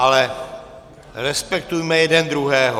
Ale respektujme jeden druhého.